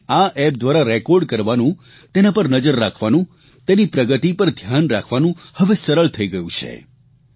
તેને આ એપ દ્વારા રેકોર્ડ કરવાનું તેના પર નજર રાખવાનું તેની પ્રગતિ પર ધ્યાન રાખવાનું હવે સરળ થઇ ગયું છે